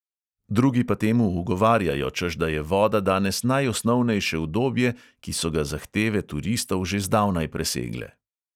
Drugi pa temu ugovarjajo, češ da je voda danes najosnovnejše udobje, ki so ga zahteve turistov že zdavnaj presegle.